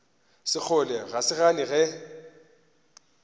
sekgole ga re gane ge